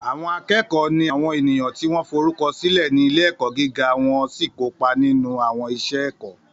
Àwọn akẹ́kọ̀ọ́ ni àwọn ènìyàn tí wọ́n forúkọ sílẹ̀ ní ilé-ẹ̀kọ́ gíga wọ́n sì kópa nínú àwọn iṣẹ́ ẹ̀kọ́.